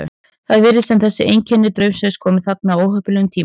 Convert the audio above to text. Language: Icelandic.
Það virðist sem þetta einkenni draumsvefns komi þarna á óheppilegum tíma.